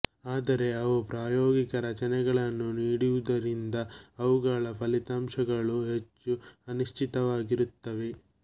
ಆದರೆ ಅವು ಪ್ರಾಯೋಗಿಕ ರಚನೆಗಳನ್ನು ನೀಡದಿರುವುದರಿಂದ ಅವುಗಳ ಫಲಿತಾಂಶಗಳು ಹೆಚ್ಚು ಅನಿಶ್ಚಿತವಾಗಿರುತ್ತವೆ